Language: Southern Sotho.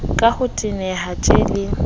ka ho teneha tjhe le